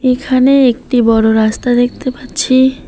এখানে একটি বড় রাস্তা দেখতে পাচ্ছি।